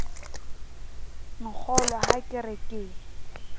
nkgolwe ha ke re ke